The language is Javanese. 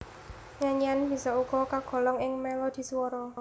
Nyanyian bisa uga kagolong ing melodhi swara